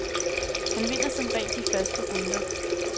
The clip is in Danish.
Hun vinder som regel de første runder.